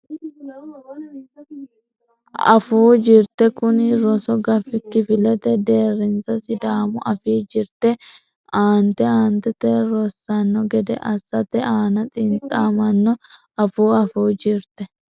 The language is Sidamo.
Afuu Jirte Kuni rosu gafi kifilete deerrinsa Sidaamu Afii jirte aante aantete rossanno gede assate aana xintamanno Afuu Afuu Jirte.